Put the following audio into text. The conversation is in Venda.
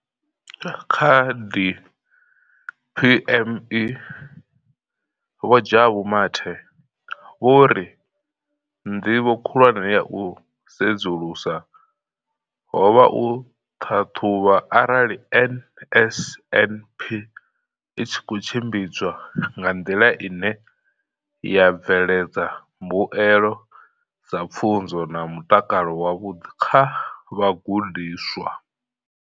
Kha DPME, Vho Jabu Mathe, vho ri ndivho khulwane ya u sedzulusa ho vha u ṱhaṱhuvha arali NSNP i tshi khou tshimbidzwa nga nḓila ine ya bveledza mbuelo dza pfunzo na mutakalo wavhuḓi kha vhagudiswa.